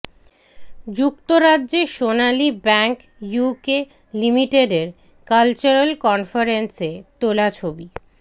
যুক্তরাজ্যে Sonali bank UK লিমিটেডের cultural কনফারেন্সে তোলা ছবি